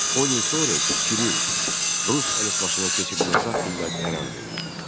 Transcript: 10 il sonra isə Kiril rus əlifbasına keçirilməsi haqqında qərar verildi.